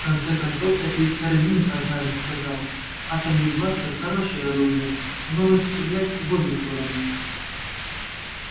в конце концов это ведь хардин однажды сказал атомный бластер хорошее оружие оно может стрелять в обе стороны